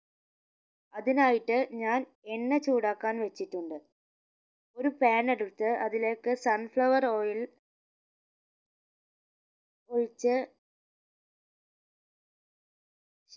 അതിനായിട്ട് ഞാൻ എണ്ണ ചൂടാക്കാൻ വെച്ചിട്ടുണ്ട് ഒരു pan എടുത്ത് അതിലേക്ക് sun flower oil ഒഴിച്ച്